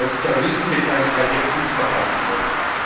als Terroristen bezeichnet, weil wir Angst verbreiten wollten.